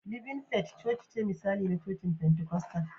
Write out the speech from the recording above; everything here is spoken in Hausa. Living Faith chochice misali ne na cocin Pentikostal